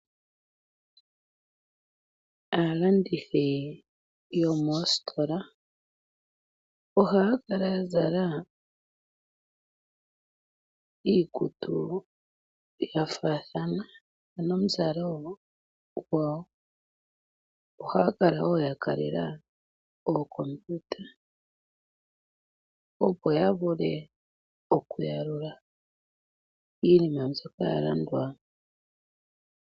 Aalandithi yomoositola ohaa kala ya zala iikutu ya faathana ano omuzalo gwawo. Ohaa kala wo ya kalela ookompiuta, opo ya vule okuyalula iinima mbyoka ya landwa.